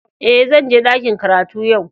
Eh, zan je dakin karatu yau.